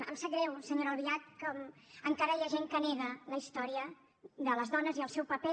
em sap greu senyora albiach com encara hi ha gent que nega la història de les dones i el seu paper